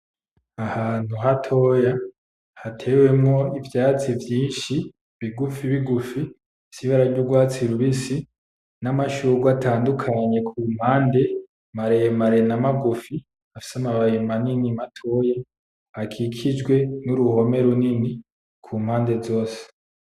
Ni ahantu hatoya, hatewemwo ivyatsi vyinshi bigufi bigufi, bifise ibara ry'urwatsi rubisi, n'amashugwe atandukanye ku mpande, maremare na magufi, afise amababi manini, matoya, akikijwe n'uruhome runini ku mpande zose.